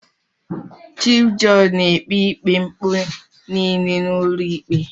Chif jọọjị na-ekpe ikpe mpụ niile n'ụlọikpe.